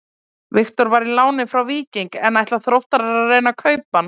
Viktor var í láni frá Víkingi en ætla Þróttarar að reyna að kaupa hann?